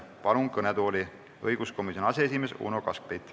Palun kõnetooli õiguskomisjoni aseesimehe Uno Kaskpeiti.